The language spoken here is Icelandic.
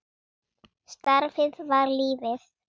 Starfið var lífið.